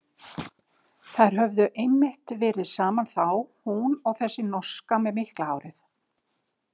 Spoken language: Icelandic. Þær höfðu einmitt verið saman þá, hún og þessi norska með mikla hárið.